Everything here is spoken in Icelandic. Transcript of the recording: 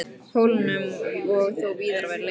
Pólunum og þó víðar væri leitað.